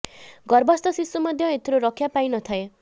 ଗର୍ଭସ୍ଥ ଶିଶୁ ମଧ୍ୟ ଏଥିରୁ ରକ୍ଷା ପାଇ ନ ଥାଏ